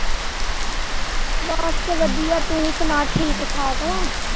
ਬਸ ਵਧੀਆ ਤੂੰ ਸੁਣਾ ਠੀਕ-ਠਾਕ।